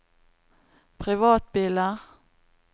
privatbiler